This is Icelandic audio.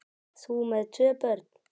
Þú með tvö börn!